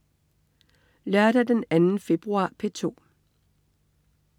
Lørdag den 2. februar - P2: